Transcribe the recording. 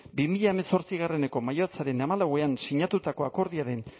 bi mila hemezortzieko maiatzaren hamalauan sinatutako akordioaren